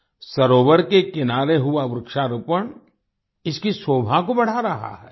सरोवर के किनारे हुआ वृक्षारोपण इसकी शोभा को बढ़ा रहा है